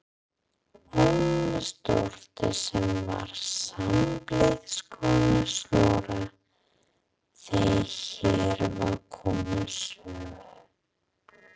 Ormsdóttur sem var sambýliskona Snorra þegar hér var komið sögu.